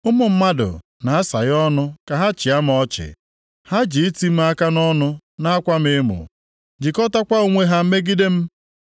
Ụmụ mmadụ na-asaghe ọnụ ka ha chịa m ọchị, ha ji iti m aka nʼọnụ na-akwa m emo, jikọtakwa onwe ha megide m.